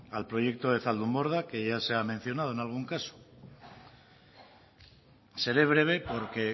al proyecto de zaldunborda que ya se ha mencionado en algún caso seré breve porque